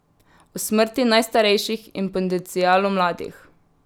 O smrti najstarejših in potencialu mladih.